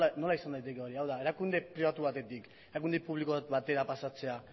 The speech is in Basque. nola izan liteke hori hau da erakunde pribatu batetik erakunde publiko batera pasatzea